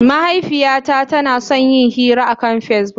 Mahaifiyata tana son yin hira akan Facebook.